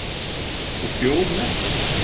Og bjór með